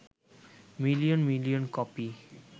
million million copy